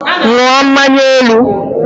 Ṅụọ nkwụ elu!